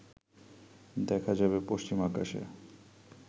দেখা যাবে পশ্চিম আকাশে